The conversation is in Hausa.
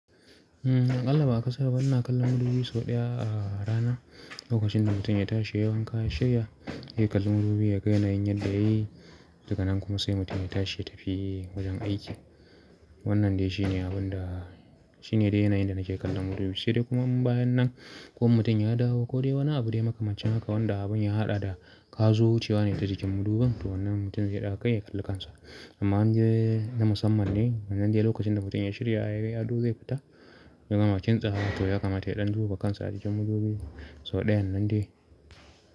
A ƙalla ba akasaraba ina kallon madubi sau ɗaya a rana. Lokacin da mutum ya tashi yayi wanka, ya shirya, yayi ƙallon madubi ya ga yanayin yanda yayi, daga nan kuma sai mutum ya tashi ya tafi wajen aiki. Wannan dai shine abin da, shine dai yanayin da nake kallon madubi. Sai dai kuma bayan nan ko in mutum ya dawo ko dai wani abu dai makamancin haka wanda abun ya haɗa da ka zo wucewa ne ta jikin madubin to wannan mutum zai ɗaga kai ya ƙalli kansa. Amma indai na musamman ne, wannan dai lokacin da mutum ya shirya ya yi ado zai fita, ya gama kintsawa, toh ya kamata ya ɗan duba kansa a jikin madubi sau ɗayan nan dai.